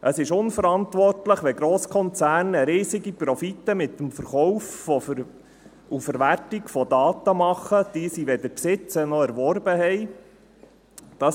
Es ist unverantwortlich, wenn Grosskonzerne riesige Profite mit dem Verkauf und der Verwertung von Daten machen, die sie weder besitzen noch erworben haben.